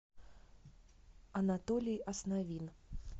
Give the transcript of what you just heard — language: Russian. анатолий основин